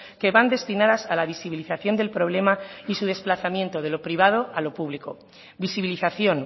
que van destinadas a la visibilización del problema y su desplazamiento de lo privado a lo público visibilización